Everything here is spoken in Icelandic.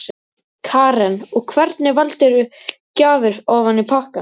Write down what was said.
Karen: Og hvernig valdirðu gjafir ofan í pakkann?